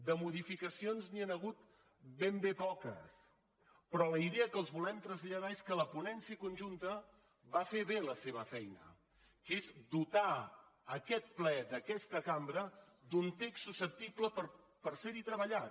de modifica cions n’hi han hagut ben bé poques però la idea que els volem traslladar és que la ponència conjunta va fer bé la seva feina que és dotar aquest ple d’aquesta cambra d’un text susceptible de ser treballat